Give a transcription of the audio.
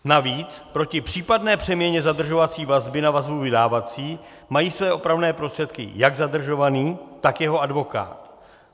Navíc proti případné přeměně zadržovací vazby na vazbu vydávací mají své opravné prostředky jak zadržovaný, tak jeho advokát.